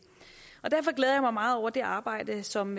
derfor glæder jeg mig meget over det arbejde som